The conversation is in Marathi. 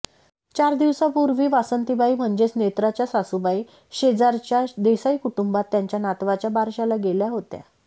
चार दिवसांपूर्वी वासंतीबाई म्हणजेच नेत्राच्या सासूबाई शेजारच्या देसाई कुटुंबात त्यांच्या नातवाच्या बारशाला गेल्या होत्या